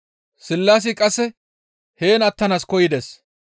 Sillaasi qasse heen attanaas koyides.